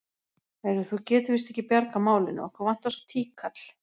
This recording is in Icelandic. Heyrðu. þú getur víst ekki bjargað málinu. okkur vantar svo tíkall.